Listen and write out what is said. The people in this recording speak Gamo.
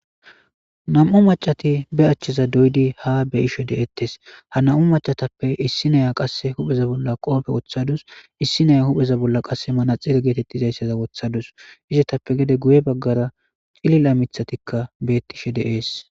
Nam'u macatti be aachcheza doyidii ha beyishe de'ettes ha nam'u macatappe issiniya qase huupheza bolla qoope woththadus issineya huphpheza bolla manaxire getetizayssa woththadus izetappe gedde guye baggara ciillila miiththattikka de'es.